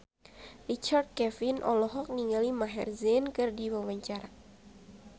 Richard Kevin olohok ningali Maher Zein keur diwawancara